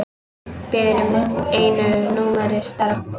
Biður um einu númeri stærra.